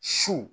Su